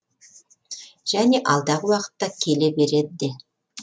және алдағы уақытта келе береді де